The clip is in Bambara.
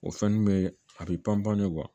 O fɛn nun be a bi panpan pan